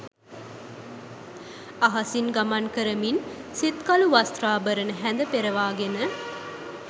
අහසින් ගමන් කරමින්, සිත්කළු වස්ත්‍රාභරණ හැඳ පෙරවාගෙන